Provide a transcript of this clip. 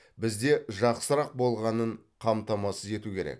бізде жақсырақ болғанын қамтамасыз ету керек